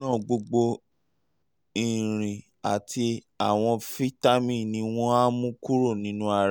um nítorí náà um gbogbo irin àti àwọn fítámì ni wọ́n um á mú kúrò nínú ara rẹ